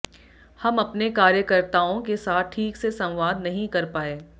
हम अपने कार्यकर्ताओं के साथ ठीक से संवाद नहीं कर पाए